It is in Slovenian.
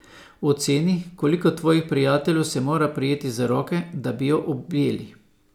Oceni, koliko tvojih prijateljev se mora prijeti za roke, da bi jo objeli.